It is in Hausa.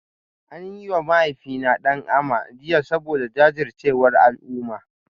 An yi wa mahaifina "Dan Ama" jiya saboda jajircewar al'umma